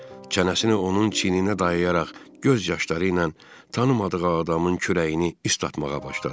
Çənəsini onun çiyninə dayayaraq göz yaşları ilə tanımadığı adamın kürəyini islatmağa başladı.